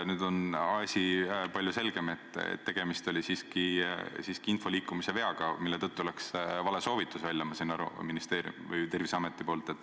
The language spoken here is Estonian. Nüüd on asi palju selgem, et tegemist oli siiski info liikumise veaga, mille tõttu läks vale soovitus välja Terviseametist.